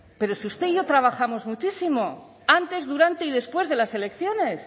pero si usted y yo trabajamos muchísimo antes durante y después de las elecciones